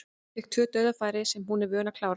Fékk tvö dauðafæri sem hún er vön að klára.